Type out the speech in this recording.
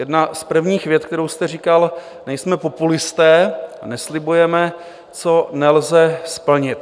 Jedna z prvních vět, kterou jste říkal: "Nejsme populisté a neslibujeme, co nelze splnit."